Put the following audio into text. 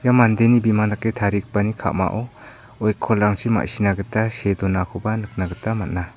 ia mandeni bimang dake tarigipani ka·mao oikolrangchi ma·sina gita see donakoba nikna gita man·a.